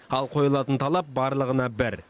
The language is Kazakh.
ал қойылатын талап барлығына бір